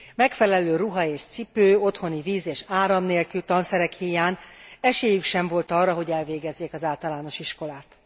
Megfelelő ruha és cipő, otthoni víz és áram nélkül, tanszerek híján esélyük sem volt arra, hogy elvégezzék az általános iskolát.